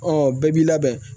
bɛɛ b'i labɛn